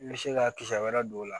I bɛ se ka kisɛ wɛrɛ don o la